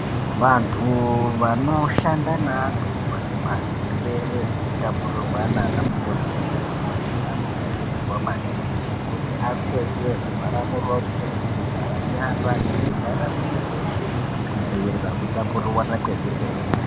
Vantu vanoshanda neantu anemazvirwere zvinotapurirwana ana mukoti nemadhokodheya anokurudzirwa maningi kuti apfeke zvivhara muromo zvivhara nyara nezvivhara mwiri weshe kudziwirira kutapurirwana kwezvirwere.